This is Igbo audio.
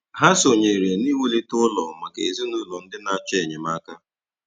Hà sọnyèrè n’iwùlite ụlọ̀ maka ezinụlọ̀ ndị na-achọ enyemáka.